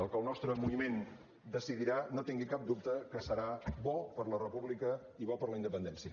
el que el nostre moviment decidirà no tingui cap dubte que serà bo per a la república i bo per a la independència